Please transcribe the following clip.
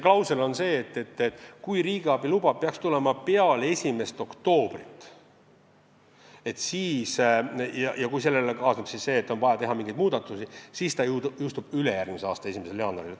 Klausel on selline, et kui riigiabi luba peaks tulema peale 1. oktoobrit ja kui sellega kaasneb see, et on vaja teha mingeid muudatusi, siis seadus jõustub ülejärgmise aasta 1. jaanuaril.